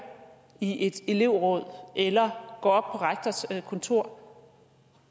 i et elevråd eller går rektors kontor